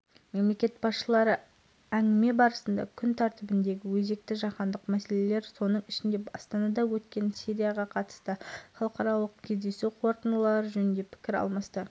егер кімде-кім максима фролов туралы қандайда бір ақпарат білетін болса немесе көріп қалған жағдайда баланың туыстары мына телефонға хабарласуларыңызды өтініп сұрайды